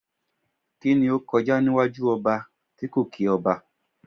Kíni ó kọjá níwájú ọba tí kò kí ọba?